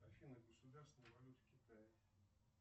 афина государственная валюта китая